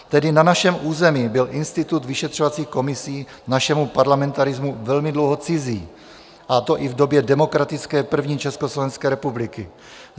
Tedy na našem území byl institut vyšetřovacích komisí našemu parlamentarismu velmi dlouho cizí, a to i v době demokratické první Československé republiky.